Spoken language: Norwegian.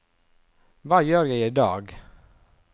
hva gjør jeg idag